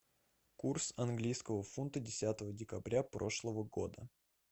курс английского фунта десятого декабря прошлого года